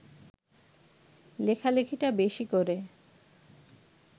লেখালেখিটা বেশি করে